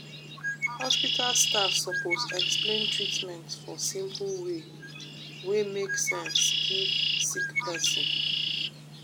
hospital staff sopose explain treatment for simple way wey make sense give sick pesin.